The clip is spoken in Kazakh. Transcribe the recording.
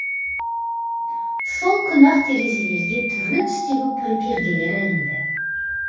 сол күні ақ терезелерге түрлі түстегі перделер ілінді